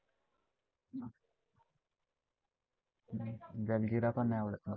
जलजीरा पण नाही आवडत मला.